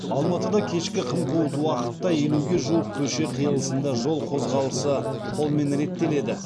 алматыда кешкі қым қуыт уақытта елуге жуық көше қиылысында жол қозғалысы қолмен реттеледі